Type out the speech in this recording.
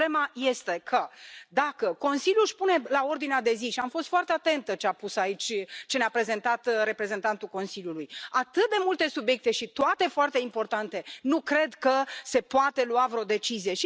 Problema este că, dacă Consiliul își pune pe ordinea de zi și am fost foarte atentă la ce ne a prezentat reprezentantul Consiliului atât de multe subiecte și toate foarte importante, nu cred că se poate lua vreo decizie.